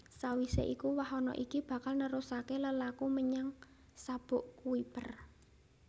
Sawisé iku wahana iki bakal nerusaké lelaku menyang Sabuk Kuiper